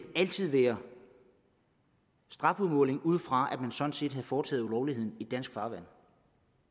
altid være strafudmåling ud fra at man sådan set havde foretaget ulovligheden i dansk farvand